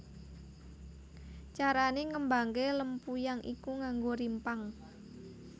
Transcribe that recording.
Carane ngembangke lempuyang iku nganggo rimpang